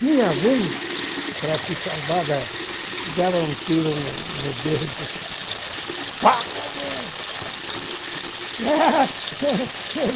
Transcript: Tinha alguns, para se salvar, da dava um tiro no no dedo. Pá (dor)